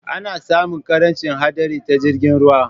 Ana sami ƙarancin haɗari ta jirgin ruwa